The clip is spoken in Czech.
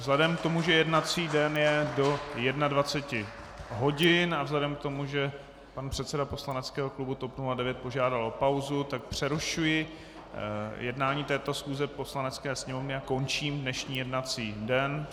Vzhledem k tomu, že jednací den je do 21 hodin, a vzhledem k tomu, že pan předseda poslaneckého klubu TOP 09 požádal o pauzu, tak přerušuji jednání této schůze Poslanecké sněmovny a končím dnešní jednací den.